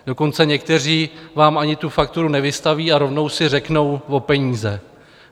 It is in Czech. Dokonce někteří vám ani tu fakturu nevystaví a rovnou si řeknou o peníze.